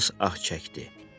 Hans ah çəkdi.